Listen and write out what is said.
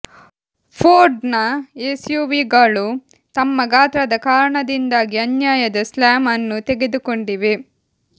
ಫೋರ್ಡ್ನ ಎಸ್ಯುವಿಗಳು ತಮ್ಮ ಗಾತ್ರದ ಕಾರಣದಿಂದಾಗಿ ಅನ್ಯಾಯದ ಸ್ಲ್ಯಾಮ್ ಅನ್ನು ತೆಗೆದುಕೊಂಡಿವೆ